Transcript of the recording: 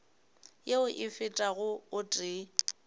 yeo e fetago o tee